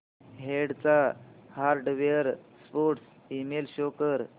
del चा hardware support email show कर